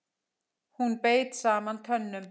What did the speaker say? Hún beit saman tönnum.